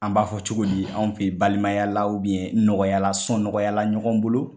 An b'a fɔ cogo di anw fe ye balimayala u bɛn nɔgɔyala sɔn nɔgɔyala ɲɔgɔn bolo